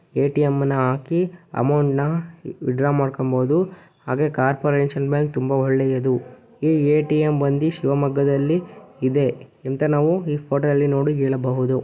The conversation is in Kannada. ಎಟಿಎಂ ನ ಹಾಕಿ ಅಮೌಂಟ್ ನ ವಿತ್ಡ್ರಾ ಮಾಡ್ಕೋಬಹುದು ಹಾಗೆ ಕಾರ್ಪೊರೇಷನ್ ಬ್ಯಾಂಕ್ ತುಂಬ ಒಳ್ಳೆಯದು ಈ ಎಟಿಎಂ ಬಂದಿ ಶಿವಮೊಗ್ಗದಲ್ಲಿ ಇದೆ ಎಂತಾ ನಾವು ಈ ಫೋಟೋ ದಲ್ಲಿ ನೋಡಿ ಹೇಳಬಹುದು.